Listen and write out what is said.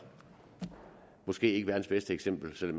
måske ikke verdens bedste eksempel selv